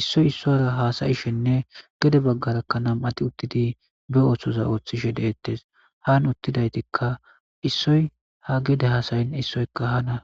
issoy issora haasayishenne gede baggarakkanam atti uttidi be ooththoza ooththishe deettes haan uttidaytikka issoy ha gede hasayin issoyka hana.